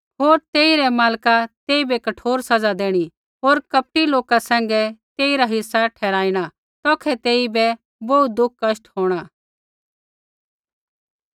होर तेई रै मालका तेइबै कठोर सज़ा देणी होर कपटी लोका सैंघै तेइरा हिस्सा ठहराणा तौखै तेइबै बोहू दुखकष्ट होंणा